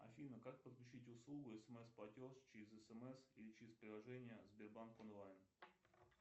афина как подключить услугу смс платеж через смс или через приложение сбербанк онлайн